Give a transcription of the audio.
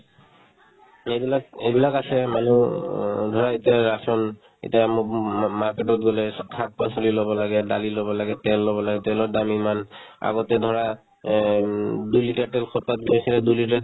এইবিলাক এইবিলাক আছে মানুহ অ ধৰা এতিয়া আছোন এতিয়া মো ~ মো ~ মো ~ market তত গ'লে চব শাক-পাচলি ল'ব লাগে , দালি ল'ব লাগে, তেল ল'ব লাগে তেলৰ দাম ইমান আগতে ধৰা এহ্ উম দুইলিটাৰ তেল সপ্তাহত গৈছিলে দুই লিটাৰ